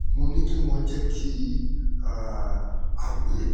mo ní kí wọ́n jẹ́ kí um a pè é